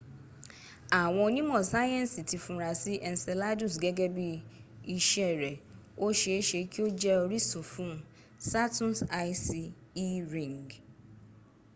àwọn onímọ̀ sáyẹnsì ti funra sí́ enceladus gẹ́gẹ́ bí iṣẹ́ rẹ̀ o ṣe e ṣe kí o jẹ orísun fuhn saturn's icy e ring